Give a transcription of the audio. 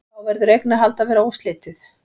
Þá verður eignarhald að vera óslitið.